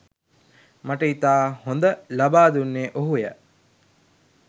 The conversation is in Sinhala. මට ඉතා හොඳ ලබා දුන්නේ ඔහුය